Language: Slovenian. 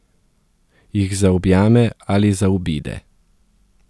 Jih zaobjame ali zaobide.